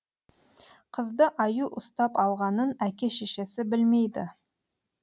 қызды аю ұстап алғанын әке шешесі білмейді